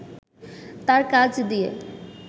তাঁর কাজ দিয়ে